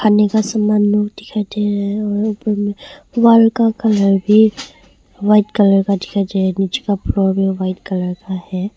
खाने का सामान दिखाई दे रहा है उपर मे वॉल का कलर भी वाइट कलर का दिखाई दे रहा है नीचे का फ़्लोर व्हाइट कलर का है।